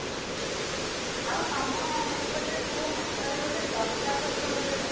ହଁ, ଆଉ ତମ ସେପଟେ କୋଉ ହାଟରେ ଗୋଟେ ଶସ୍ତା ପରିବା ହୁଏ ବା?